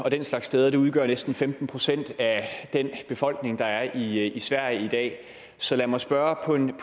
og den slags steder det udgør næsten femten procent af den befolkning der er i sverige i dag så lad mig spørge på en